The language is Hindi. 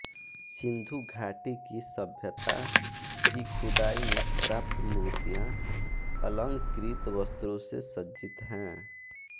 सिन्धु घाटी की सभ्यता की खुदाई में प्राप्त मूर्तियाँ अलंकृत वस्त्रों से सज्जित हैं